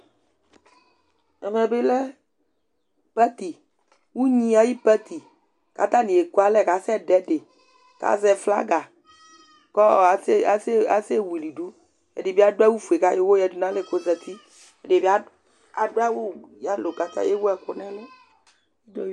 Ɛmɛ bɩ lɛ pati, unyi ayʋ pati katanɩ ekualɛ kasɛ dʋɛdɩ, kazɛ flaga kɔ asɛ wuilidu, ɛdɩ bɩ adʋ awʋ fue kʋ ayɔ ʋwɔ yǝdunalɛ kozatiƐdɩ bɩ adʋ yalo kewu ɛkʋ nɛlʋ